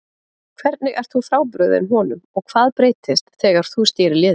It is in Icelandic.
Hvernig ert þú frábrugðinn honum og hvað breytist þegar þú stýrir liðinu?